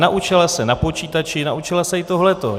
Naučila se na počítači, naučila se i tohle.